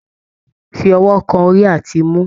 Fi ọwọ kan orí àti imú!